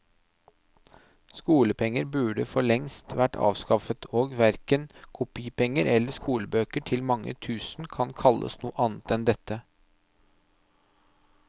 Skolepenger burde for lengst vært avskaffet, og verken kopipenger eller skolebøker til mange tusen kan kalles noe annet enn dette.